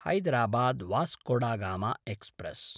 Hyderabad Vasco da Gama express